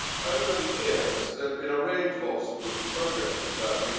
Over the years, there has been a range of obstacles to progress with Turkey